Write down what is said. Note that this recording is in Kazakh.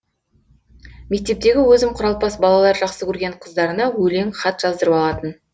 мектептегі өзім құралпас балалар жақсы көрген қыздарына өлең хат жаздырып алатын